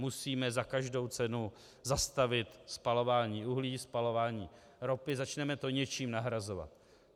Musíme za každou cenu zastavit spalování uhlí, spalování ropy, začneme to něčím nahrazovat.